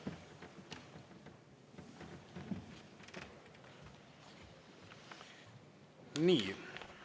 Aitäh!